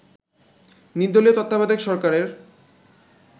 নির্দলীয় তত্ত্বাবধায়ক সরকারের